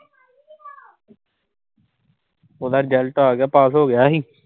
ਉਹਦਾ ਰਿਜ਼ਲਟ ਆਗਿਆ। ਪਾਸ ਹੋਗਿਆ ਸੀ.